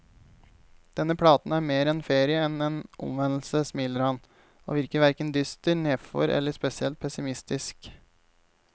Denne platen er mer en ferie enn en omvendelse, smiler han, og virker hverken dyster, nedfor eller spesielt pessimistisk.